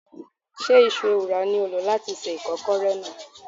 Ṣé Iṣu ewùrà ni ó lò láti se ìkọ́kọrẹ náà?